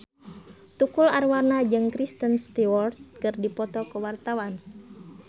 Tukul Arwana jeung Kristen Stewart keur dipoto ku wartawan